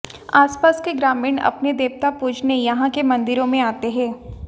आसपास के ग्रामीण अपने देवता पूजने यहां के मंदिरों में आते हैं